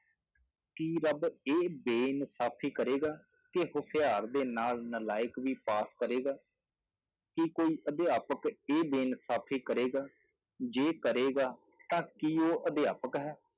ਕੀ ਰੱਬ ਇਹ ਬੇਇਨਸਾਫ਼ੀ ਕਰੇਗਾ ਕਿ ਹੁਸ਼ਿਆਰ ਦੇ ਨਾਲ ਨਲਾਇਕ ਵੀ ਪਾਸ ਕਰੇਗਾ, ਕੀ ਕੋਈ ਅਧਿਆਪਕ ਇਹ ਬੇਇਨਸਾਫ਼ੀ ਕਰੇਗਾ ਜੇ ਕਰੇਗਾ ਤਾਂ ਕੀ ਉਹ ਅਧਿਆਪਕ ਹੈ,